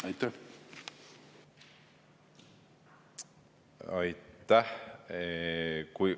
Aitäh!